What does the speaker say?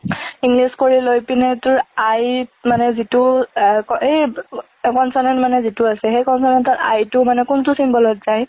english কৰি লৈ পিনে তোৰ i ত মানে যিটো, ~আ~সেই~আ consonant মানে যিটো আছে, সেই consonant তৰ i টো মানে কোনটো symbol ত যাই,